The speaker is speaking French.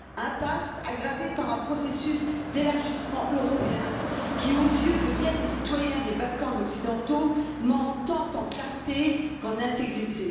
Impasse aggravée par un processus d'élargissement européen qui, aux yeux de bien des citoyens des Balkans occidentaux, manque tant de clarté que d'intégrité.